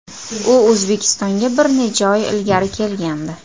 U O‘zbekistonga bir necha oy ilgari kelgandi.